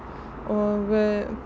og